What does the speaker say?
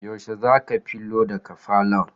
Yaushe zaka filo daga falon?